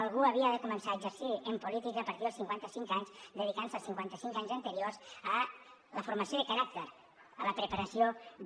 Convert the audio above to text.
algú havia de començar a exercir en política a partir dels cinquanta cinc anys dedicant se els cinquanta cinc anys anteriors a la formació de caràcter a la preparació de